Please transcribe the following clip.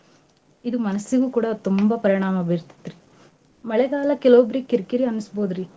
ಇದು ಮನಸಿಗೂ ಕೂಡ ತುಂಬಾ ಪರಿಣಾಮ ಬೀರ್ತತ್ರಿ. ಮಳೆಗಾಲ ಕೆಲವೊಬ್ರಿಗ್ ಕಿರ್ಕಿರಿ ಅನ್ಸ್ಬೋದ್ರಿ.